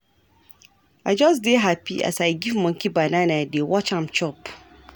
I just dey hapi as I dey give monkey banana dey watch am chop.